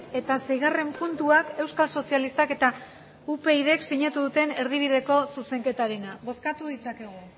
eta seigarren puntuak euskal sozialistak eta upydk sinatu duten erdibideko zuzenketarena bozkatu ditzakegu